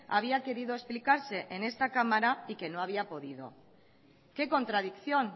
había querido explicarse en esta cámara y que no había podido qué contradicción